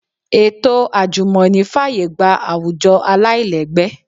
Ètò àjùmọ̀ní fàyè gba àwùjọ aláìlẹ́gbẹ́